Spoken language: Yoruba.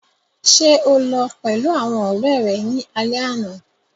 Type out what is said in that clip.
Ṣe o lọ pẹlu awọn ọrẹ rẹ ni alẹ ana?